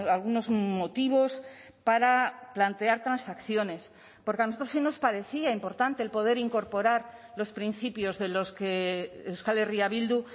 algunos motivos para plantear transacciones porque a nosotros si nos parecía importante el poder incorporar los principios de los que euskal herria bildu